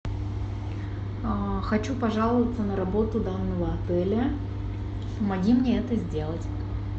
хочу пожаловаться на работу данного отеля помоги мне это сделать